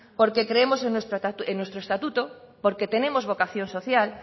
porque creemos en nuestro estatuto porque tenemos vocación social